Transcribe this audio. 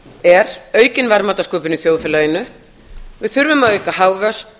er aukin verðmætasköpun í þjóðfélaginu við þurfum að auka hagvöxt